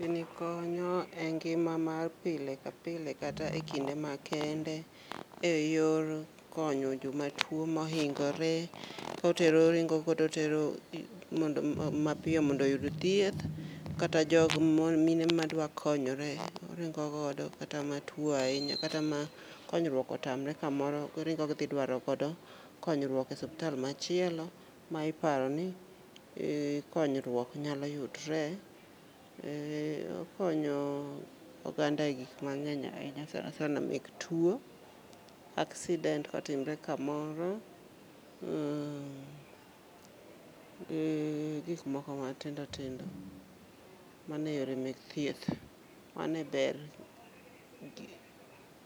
Gini konyo e ngima mar pile ka pile kata e kinde ma kende e yor konyo joma tuo mohingore, kotero oringo go totero mapiyo mondo oyud thieth. Kata jogo mo mine ma dwa konyore oringo godo kata matuo ahinya, kata ma konyruok otamre kamoro. Giringo gidhi dwaro godo konyruok e suptal machielo ma iparo ni konyruok nyalo yudre. Ee okonyo oganda e gik mang'eny ahinya sana sana mek tuo, accident kotimre kamoro, uh ee gi gik moko ma tindo tindo mane yore mek thieth. Mane ber gi